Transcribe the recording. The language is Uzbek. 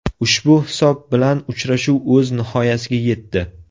Ushbu hisob bilan uchrashuv o‘z nihoyasiga yetdi.